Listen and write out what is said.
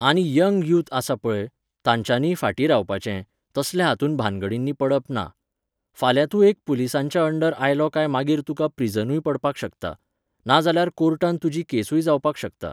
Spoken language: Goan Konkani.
आनी यंग यूथ आसा पळय, तांच्यानीय फाटीं रावपाचें, तसल्या हातूंत भानगडींनी पडप ना. फाल्यां तूं एक पुलिसांच्या अंडर आयलो काय मागीर तुका प्रिझनूय पडपाक शकता. नाजाल्यार कोर्टांत तुजी केसूय जावपाक शकता